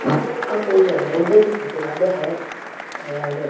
आ कोई हवाई अड्डे की फोटो लागे है और --